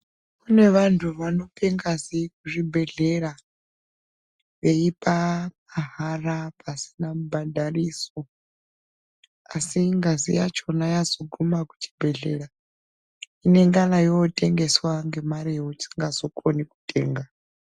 Kune vantu vanope ngazi kuchibhedhlera veipa mahara pasina mubhadhariso. Asi ngazi yachona yazoguma kuchibhedhlera inengana yotengeswa ngemare yausingazo koni kutenga.